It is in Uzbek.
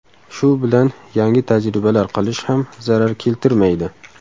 Shu bilan yangi tajribalar qilish ham zarar keltirmaydi.